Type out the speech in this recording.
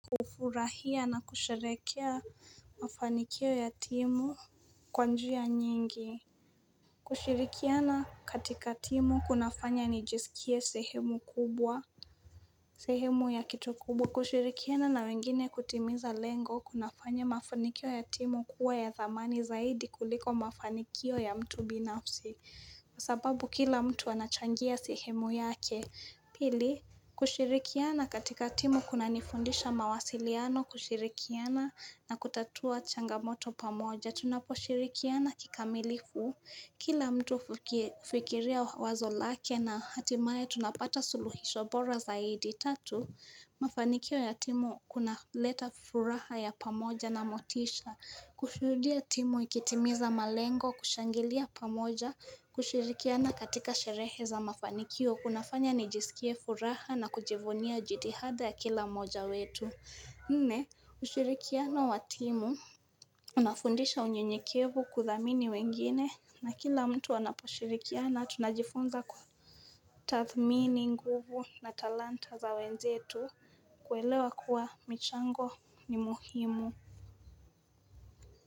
Hufurahia na kusherehekea mafanikio ya timu kwa njia nyingi kushirikiana katika timu kunafanya nijisikie sehemu ya kitu kubwa. Kushirikiana na wengine kutimiza lengo kunafanya mafanikio ya timu kuwa ya dhamani zaidi kuliko mafanikio ya mtu binafsi. Kwa sababu kila mtu anachangia sehemu yake Pili, kushirikiana katika timu kunanifundisha mawasiliano, kushirikiana na kutatua changamoto pamoja. Tunaposhirikiana kikamilifu, kila mtu hukifikiria wazo lake na hatimaye tunapata suluhisho bora zaidi. Tatu, mafanikio ya timu kunaleta furaha ya pamoja na motisha. Kushuhudia timu ikitimiza malengo, kushangilia pamoja kushirikiana katika sherehe za mafanikio. Kunafanya nijisikie furaha na kujivunia jitihada ya kila mmoja wetu Nne, ushirikiano wa timu Unafundisha unyenyekevu, kuthamini wengine, na kila mtu anaposhirikiana, tunajifunza kutathmini nguvu na talanta za wenzetu kuelewa kuwa michango ni muhimu.